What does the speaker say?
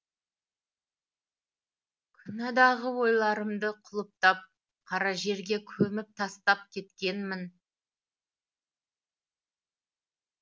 күнәдағы ойларымды құлыптап қара жерге көміп тастап кеткенмін